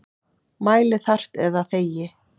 Mæli þarft eða þegi.